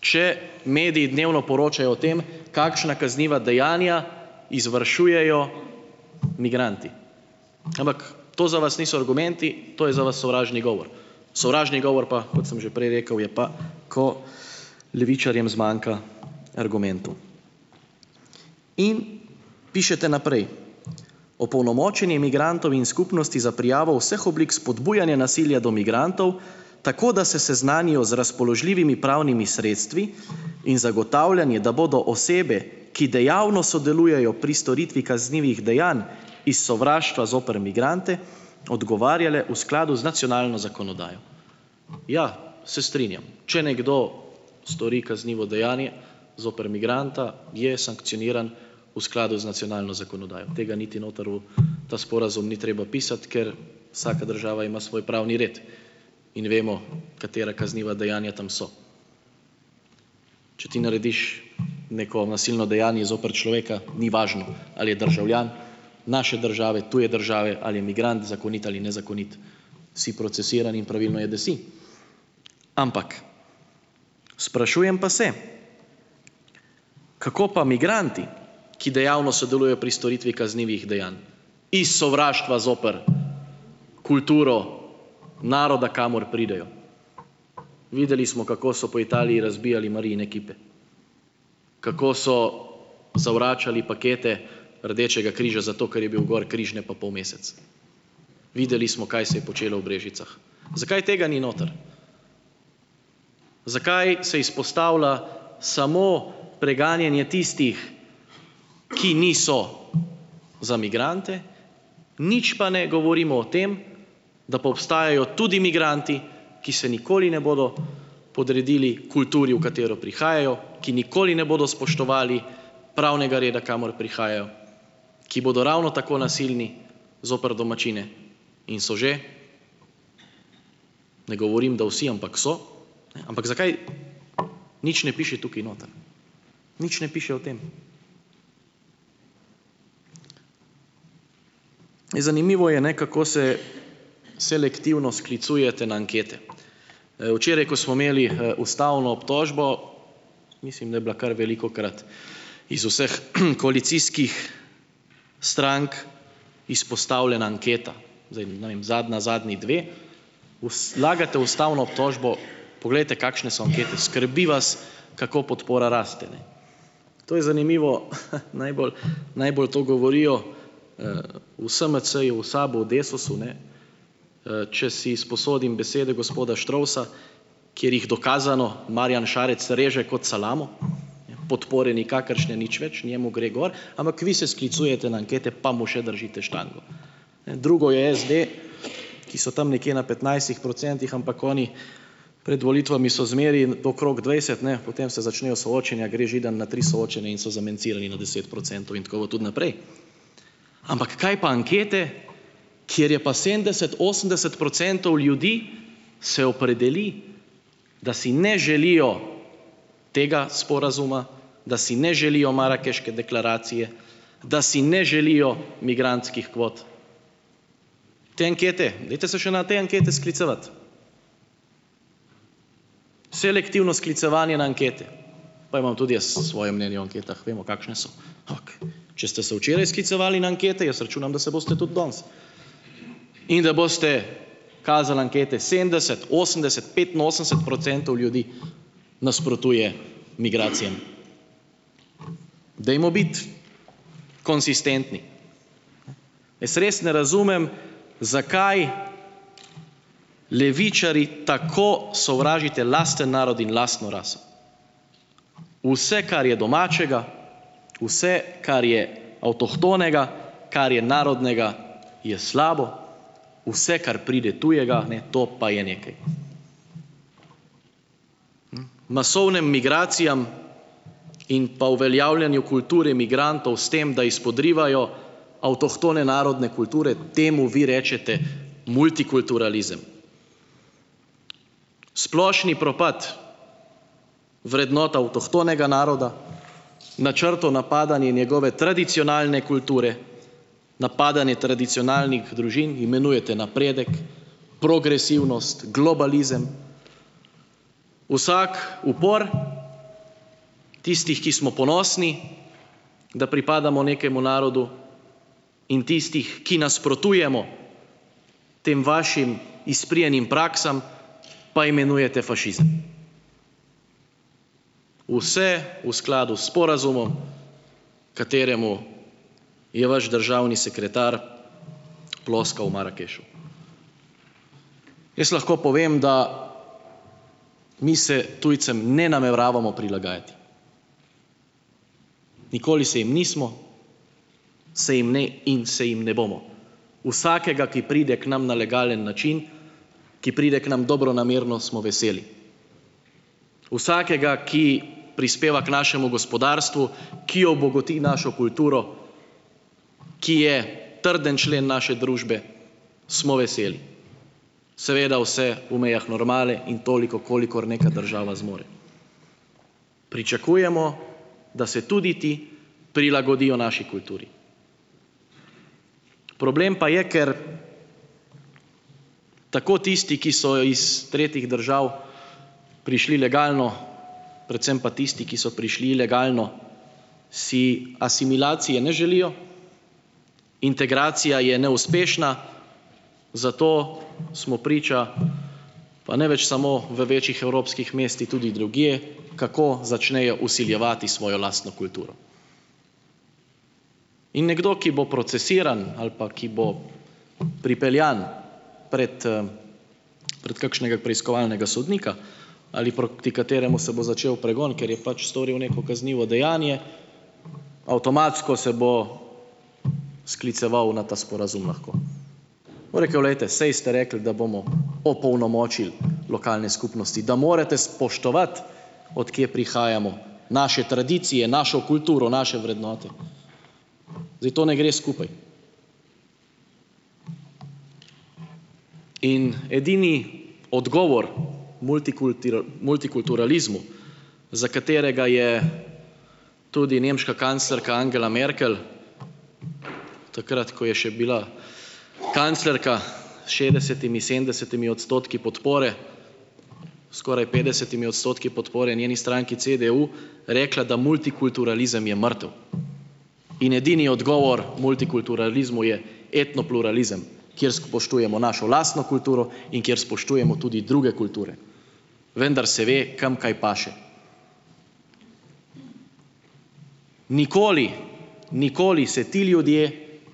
če mediji dnevno poročajo o tem, kakšna kazniva dejanja izvršujejo migranti. Ampak to za vas niso argumenti, to je za vas sovražni govor. Sovražni govor pa - kot sem že prej rekel - je pa, ko levičarjem zmanjka argumentov. In, pišete naprej - opolnomočenje migrantom in skupnosti za prijavo vseh oblik spodbujanja nasilja do migrantov, tako, da se seznanijo z razpoložljivimi pravnimi sredstvi, in zagotavljanje, da bodo osebe, ki dejavno sodelujejo pri storitvi kaznivih dejanj iz sovraštva zoper migrante odgovarjale v skladu z nacionalno zakonodajo. Ja, se strinjam. Če nekdo stori kaznivo dejanje zoper migranta, je sankcioniran v skladu z nacionalno zakonodajo - tega niti noter v ta sporazum ni treba pisati, ker vsaka država ima svoj pravni red, in vemo, katera kazniva dejanja tam so. Če ti narediš neko nasilno dejanje zoper človeka, ni važno, ali je državljan naše države, tuje države, ali je migrant - zakonit ali nezakonit - si procesiran in pravilno je, da si. Ampak, sprašujem pa se, kako pa migranti, ki dejavno sodelujejo pri storitvi kaznivih dejanj iz sovraštva zoper kulturo naroda, kamor pridejo? Videli smo, kako so po Italiji razbijali Marijine kipe. Kako so zavračali pakete Rdečega križa, zato ker je bil gor križ, ne pa polmesec. Videli smo, kaj se je počelo v Brežicah. Zakaj tega ni noter? Zakaj se izpostavlja samo preganjanje tistih, ki niso za migrante, nič pa ne govorimo o tem, da pa obstajajo tudi migranti, ki se nikoli ne bodo podredili kulturi, v katero prihajajo? Ki nikoli ne bodo spoštovali pravnega reda, kamor prihajajo? Ki bodo ravno tako nasilni zoper domačine in so že - ne govorim, da vsi - ampak so? Ampak, zakaj nič ne piše tukaj noter, nič ne piše o tem. Zanimivo je ne, kako se selektivno sklicujete na ankete. Včeraj, ko smo imeli ustavno obtožbo. mislim, da je bila kar velikokrat iz vseh koalicijskih strank izpostavljena anketa, zdaj ne vem zadnja zadnji dve, "vlagate ustavno obtožbo, poglejte, kakšne so ankete ..." Skrbi vas, kako podpora raste, ne. To je zanimivo, najbolj najbolj to govorijo v SMC-ju, v SAB-u v DESUS-u ne, če si izposodim besede gospoda Štrovsa, kjer jih, dokazano, Marjan Šarec reže kot salamo, podpore nikakršne nič več, njemu gre gor, ampak vi se sklicujete na ankete, pa mu še držite "štango". Ne, drugo je SD, ki so tam nekje na petnajstih procentih, ampak oni pred volitvami so zmeraj okrog dvajset ne, potem se začnejo soočenja, gre Židan na tri soočenja in so "zamencirali" na deset procentov. In tako bo tudi naprej. Ampak kaj pa ankete, kjer je pa sedemdeset osemdeset procentov ljudi se opredeli, da si ne želijo tega sporazuma, da si ne želijo Marakeške deklaracije, da si ne želijo migrantskih kvot, te ankete dajte, se še na te ankete sklicevati. Selektivno sklicevanje na ankete, pa imam tudi jaz svoje mnenje o anketah, vemo, kakšne so. Ampak če ste se včeraj sklicevali na ankete, jaz računam, da se boste tudi danes. In da boste kazali ankete, sedemdeset osemdeset petinosemdeset procentov ljudi nasprotuje migracijam. Dajmo biti konsistentni! Jaz res ne razumem, zakaj levičarji tako sovražite lasten narod in lastno raso. Vse, kar je domačega, vse, kar je avtohtonega, kar je narodnega, je slabo, vse, kar pride tujega, ne to pa je nekaj. Masovnim migracijam in pa uveljavljanju kulture migrantov, s tem da izpodrivajo avtohtone narodne kulture, temu vi rečete multikulturalizem. Splošni propad vrednot avtohtonega naroda, načrtno napadanje njegove tradicionalne kulture, napadanje tradicionalnih družin imenujete napredek, progresivnost, globalizem. Vsak upor tistih, ki smo ponosni, da pripadamo nekemu narodu, in tistih, ki nasprotujemo tem vašim izprijenim praksam, pa imenujete fašizem - vse v skladu s sporazumom, kateremu je vaš državni sekretar ploskal v Marakešu. Jaz lahko povem, da mi se tujcem ne nameravamo prilagajati, nikoli se jim nismo, se jim ne in se jim ne bomo. Vsakega, ki pride k nam na legalen način, ki pride k nam dobronamerno, smo veseli. Vsakega, ki prispeva k našemu gospodarstvu, ki obogati našo kulturo, ki je trden člen naše družbe, smo veseli. Seveda vse v mejah normale in toliko, kolikor neka država zmore. Pričakujemo, da se tudi ti prilagodijo naši kulturi. Problem pa je, ker tako tisti, ki so iz tretjih držav prišli legalno, predvsem pa tisti, ki so prišli ilegalno, si asimilacije ne želijo, integracija je neuspešna, zato smo priča pa ne več samo v večjih evropskih mestih, tudi drugje, kako začnejo vsiljevati svojo lastno kulturo. In nekdo, ki bo procesiran ali pa ki bo pripeljan pred pred kakšnega preiskovalnega sodnika ali proti kateremu se bo začel pregon, ker je pač storil neko kaznivo dejanje, avtomatsko se bo skliceval na ta sporazum, lahko bo rekev, glejte, saj ste rekli, da bomo opolnomočili lokalne skupnosti, da morate spoštovati, od kje prihajamo, naše tradicije, našo kulturo, naše vrednote. Zdaj to ne gre skupaj. In edini odgovor multikulturalizmu, za katerega je tudi nemška kanclerka Angela Merkel, takrat, ko je še bila kanclerka s šestdesetimi sedemdesetimi odstotki podpore, skoraj petdesetimi odstotki podpore njeni stranki CDU, rekla, da multikulturalizem je mrtev. In edini odgovor multikulturalizmu je etnopluralizem, kjer spoštujemo našo lastno kulturo in kjer spoštujemo tudi druge kulture, vendar se ve, kam kaj paše. Nikoli, nikoli, se ti ljudje,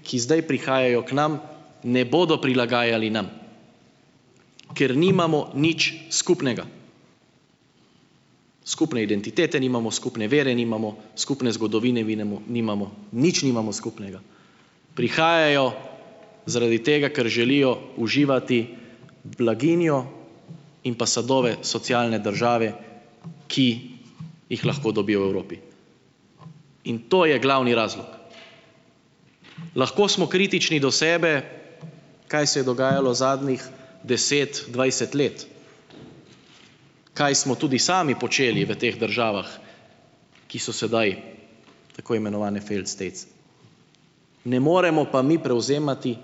ki zdaj prihajajo k nam, ne bodo prilagajali nam, ker nimamo nič skupnega. Skupne identitete nimamo, skupne vere nimamo, skupne zgodovine vinemo nimamo, nič nimamo skupnega. Prihajajo zaradi tega, ker želijo uživati blaginjo in pa sadove socialne države, ki jih lahko dobijo v Evropi. In to je glavni razlog. Lahko smo kritični do sebe, kaj se je dogajalo zadnjih deset, dvajset let, kaj smo tudi sami počeli v teh državah, ki so sedaj tako imenovane failed states. Ne moremo pa mi prevzemati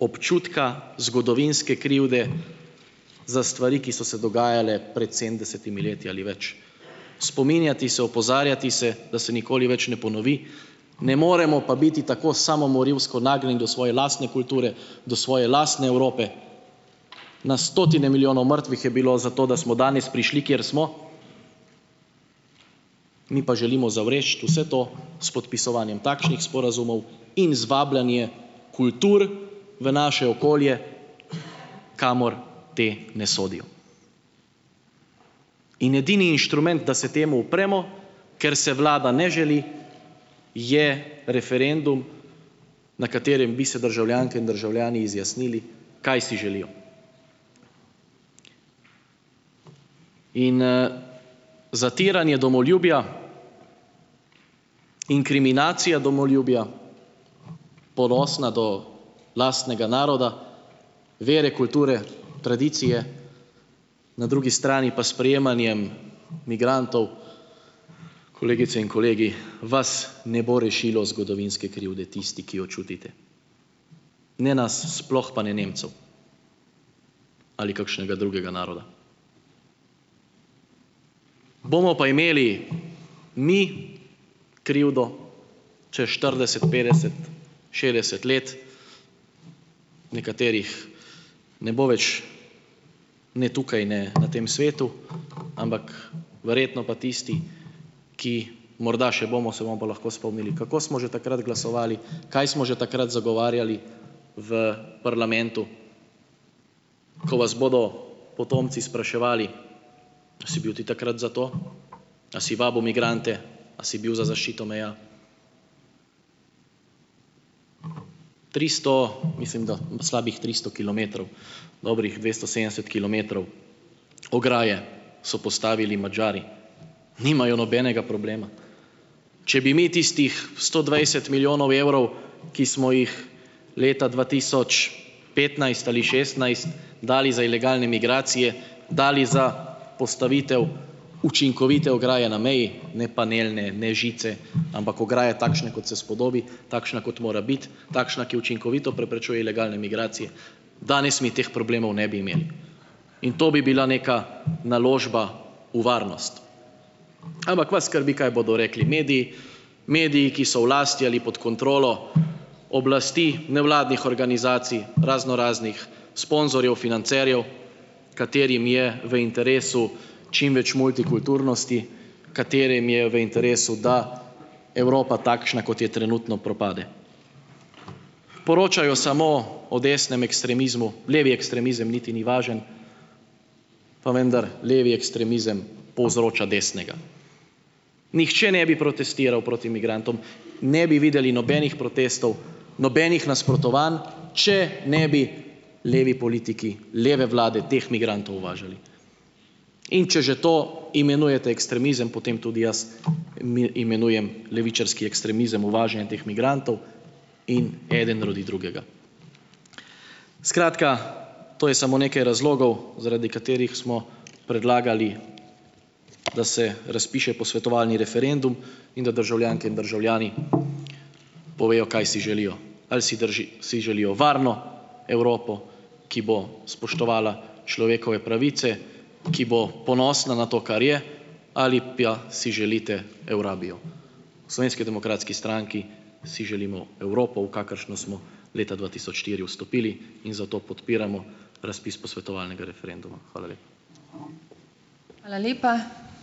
občutka zgodovinske krivde za stvari, ki so se dogajale pred sedemdesetimi leti ali več. Spominjati se, opozarjati se, da se nikoli več ne ponovi, ne moremo pa biti tako samomorilsko nagnjeni do svoje lastne kulture, do svoje lastne Evrope. Na stotine milijonov mrtvih je bilo, zato da smo danes prišli, kjer smo, mi pa želimo zavreči vse to s podpisovanjem takšnih sporazumov in z vabljenje kultur v naše okolje, kamor te ne sodijo. In edini inštrument, da se temu upremo, ker se vlada ne želi, je referendum, na katerem bi se državljanke in državljani izjasnili, kaj si želijo. In zatiranje domoljubja, inkriminacija domoljubja, ponosna do lastnega naroda, vere, kulture, tradicije, na drugi strani pa sprejemanjem migrantov, kolegice in kolegi, vas ne bo rešilo zgodovinske krivde, isti, ki jo čutite. Ne nas, sploh pa ne Nemcev, ali kakšnega drugega naroda. Bomo pa imeli mi krivdo čez štirideset, petdeset, šestdeset let, nekaterih ne bo več ne tukaj, ne na tem svetu, ampak verjetno pa tisti, ki morda še bomo, se bomo pa lahko spomnili: "Kako smo že takrat glasovali, kaj smo že takrat zagovarjali v parlamentu?" Ko vas bodo potomci spraševali: "Si bil ti takrat za to? A si vabil migrante, a si bil za zaščito meja?" Tristo, mislim, da slabih tristo kilometrov, dobrih dvesto sedemdeset kilometrov ograje so postavili Madžari. Nimajo nobenega problema. Če bi mi tistih sto dvajset milijonov evrov, ki smo jih leta dva tisoč petnajst ali šestnajst dali za ilegalne migracije, dali za postavitev učinkovite ograje na meji, ne panelne, ne žice, ampak ograje, takšne, kot se spodobi, takšna kot mora biti, takšna, ki učinkovito preprečuje ilegalne migracije, danes mi teh problemov ne bi imeli. In to bi bila neka naložba v varnost. Ampak vas skrbi, kaj bodo rekli mediji, mediji, ki so v lasti ali pod kontrolo oblasti nevladnih organizacij, raznoraznih sponzorjev, financerjev, katerim je v interesu čim več multikulturnosti, katerim je v interesu, da Evropa, takšna, kot je trenutno, propade. Poročajo samo o desnem ekstremizmu, levi ekstremizem niti ni važno, pa vendar levi ekstremizem povzroča desnega. Nihče ne bi protestiral proti migrantom, ne bi videli nobenih protestov, nobenih nasprotovanj, če ne bi levi politiki leve vlade teh migrantov uvažali. In če že to imenujete ekstremizem, potem tudi jaz imenujem levičarski ekstremizem uvažanje teh migrantov. In eden rodi drugega. Skratka, to je samo nekaj razlogov, zaradi katerih smo predlagali, da se razpiše posvetovalni referendum in da državljanke in državljani povejo, kaj si želijo - ali si si želijo varno Evropo, ki bo spoštovala človekove pravice, ki bo ponosna na to, kar je, ali pja si želite "Eurabijo"? V Slovenski demokratski stranki si želimo Evropo, v kakršno smo leta dva tisoč štiri vstopili, in zato podpiramo razpis posvetovalnega referenduma. Hvala lepa.